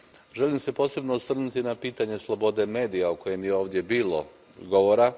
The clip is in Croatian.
Želim se posebno osvrnuti na pitanje slobode medija, o kojem je ovdje bilo govora.